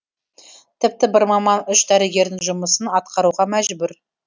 тіпті бір маман үш дәрігердің жұмысын атқаруға мәжбүр